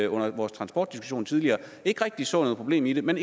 under vores transportdiskussion tidligere ikke rigtig så noget problem i det men